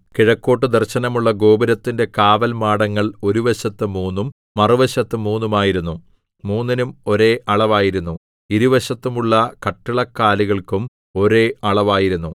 കിഴക്കോട്ടു ദർശനമുള്ള ഗോപുരത്തിന്റെ കാവൽമാടങ്ങൾ ഒരു വശത്ത് മൂന്നും മറുവശത്ത് മൂന്നും ആയിരുന്നു മൂന്നിനും ഒരേ അളവായിരുന്നു ഇരുവശത്തും ഉള്ള കട്ടിളക്കാലുകൾക്കും ഒരേ അളവായിരുന്നു